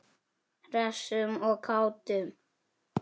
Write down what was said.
Hressum og kátum.